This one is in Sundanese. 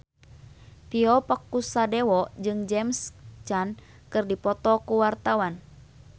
Tio Pakusadewo jeung James Caan keur dipoto ku wartawan